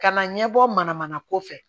Ka na ɲɛbɔ manamana ko fɛ